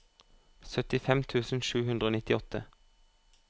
syttifem tusen sju hundre og nittiåtte